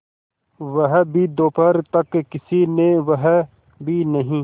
वह भी दोपहर तक किसी ने वह भी नहीं